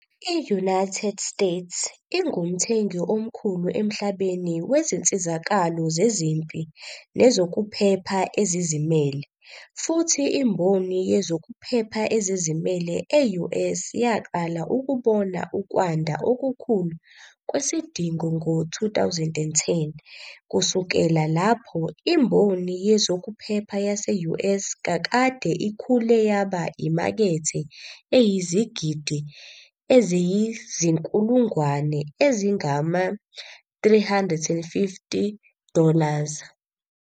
I-United States ingumthengi omkhulu emhlabeni wezinsizakalo zezempi nezokuphepha ezizimele, futhi imboni yezokuphepha ezizimelwe e-US yaqala ukubona ukwanda okukhulu kwesidingo ngo-2010. Kusukela lapho, imboni yezokuphepha yase-US kakade ikhule yaba imakethe eyizigidi eziyizinkulungwane ezingama- 350 dollars.